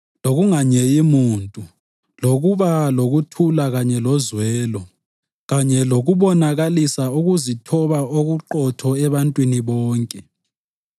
lokunganyeyi muntu, lokuba lokuthula kanye lozwelo, kanye lokubonakalisa ukuzithoba okuqotho ebantwini bonke.